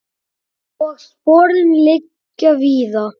Og sporin liggja víða.